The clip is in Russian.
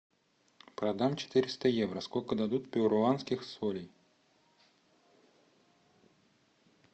продам четыреста евро сколько дадут перуанских солей